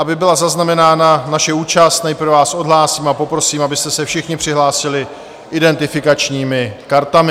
Aby byla zaznamenána naše účast, nejprve vás odhlásím a poprosím, abyste se všichni přihlásili identifikačními kartami.